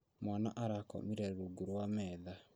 Mwana arakomire rungu rwa metha